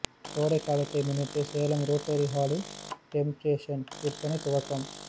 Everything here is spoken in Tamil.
கோடை காலத்தை முன்னிட்டு சேலம் ரோட்டரி ஹாலில் டெம்டேஷன் விற்பனை துவக்கம்